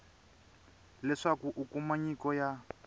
leswaku u kuma nyiko ya